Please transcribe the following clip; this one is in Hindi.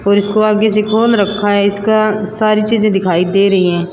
और इसको से खोल रखा हे इसका सारी चीजे दिखाई दे रही है।